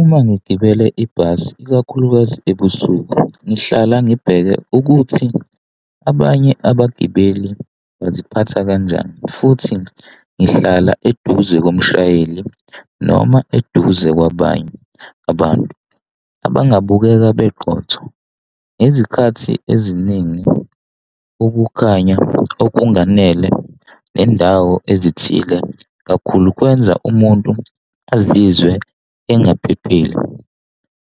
Uma ngigibele ibhasi ikakhulukazi ebusuku ngihlala ngibheke ukuthi abanye abagibeli baziphatha kanjani futhi ngihlala eduze komshayeli noma eduze kwabanye abantu, abangabukeka beqotho. Ngezikhathi eziningi ukukhanya nokunganele nendawo ezithile kakhulu kwenza umuntu azizwe engaphephile.